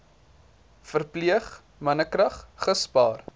verpleeg mannekrag gespaar